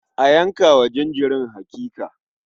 A yanka wa jinjirin hakika.